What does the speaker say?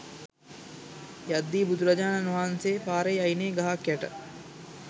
යද්දි බුදුරජාණන් වහන්සේ පාරේ අයිනේ ගහක් යට